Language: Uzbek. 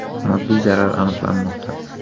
Moddiy zarar aniqlanmoqda.